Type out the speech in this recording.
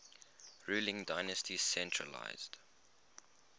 ruling dynasty centralised